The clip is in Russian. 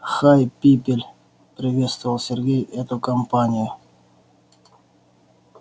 хай пипель приветствовал сергей эту компанию